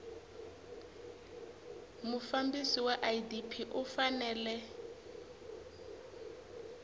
mufambisi wa idp u fanele